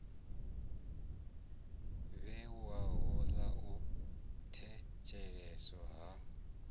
vhewaho ḽa u thetsheleswa ha